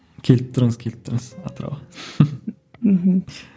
келіп тұрыңыз келіп тұрыңыз атырауға мхм